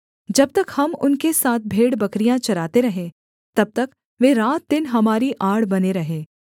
जब तक हम उनके साथ भेड़बकरियाँ चराते रहे तब तक वे रात दिन हमारी आड़ बने रहे